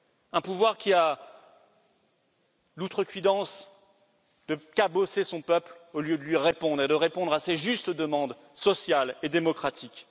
Un pouvoir qui a l'outrecuidance de cabosser son peuple au lieu de lui répondre et de répondre à ses justes demandes sociales et démocratiques.